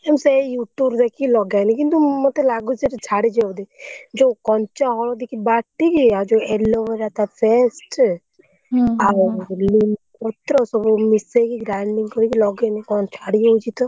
ମୁଁ ସେଇ YouTube ରୁ ଦେଖିକି ଲଗାଏନି, କିନ୍ତୁ ମତେ ଲାଗୁଛି, ସେଇଟା ଛାଡିଯିବ ବୋଧେ। ଯୋଉ କଞ୍ଚା ହଳଦୀକୁ ବାଟିକି ଆଉ ଯୋଉ aloe vera ତା paste ଆଉ ନିମ୍ବ ପତ୍ର ସବୁ ମିଶେଇକି grinding କରିକି ଲଗେଇଲୁ କଣ ଛାଡ଼ିଯାଉଛି ତ।